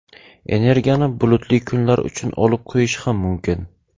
Energiyani bulutli kunlar uchun olib qo‘yish ham mumkin.